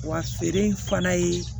Wa feere in fana ye